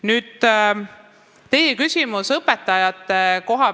Nüüd, teil oli küsimus õpetajate kohta.